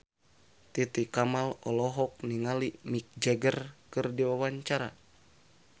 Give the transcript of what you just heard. Titi Kamal olohok ningali Mick Jagger keur diwawancara